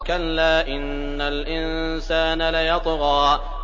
كَلَّا إِنَّ الْإِنسَانَ لَيَطْغَىٰ